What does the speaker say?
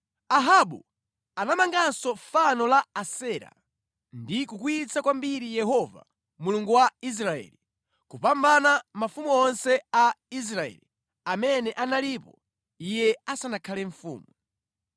Ahabu anapanganso fano la Asera ndi kukwiyitsa kwambiri Yehova Mulungu wa Israeli, kupambana mafumu onse a Israeli amene analipo iye asanakhale mfumu.